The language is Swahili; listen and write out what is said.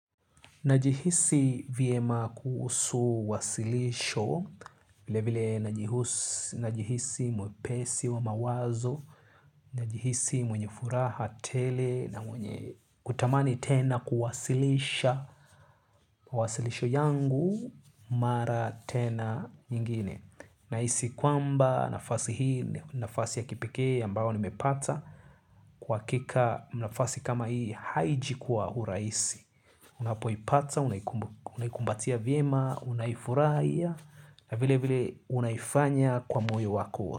Najihisi vyema kuhusu wasilisho, vile vile najihisi mwepesi wa mawazo, najihisi mwenye furaha tele, na mwenye kutamani tena kuwasilisha, wasilisho yangu mara tena nyingine. Na hisi kwamba nafasi hii nafasi ya kipekee ambayo nimepata. Kwa hakika nafasi kama hii haiji kwa urahisi. Unapo ipata, unayikumbatia vyiema, unaifuraha hii. Na vile vile unayifanya kwa moyo wako.